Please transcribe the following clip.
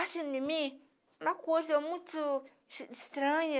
Assim, em mim, uma coisa muito es estranha.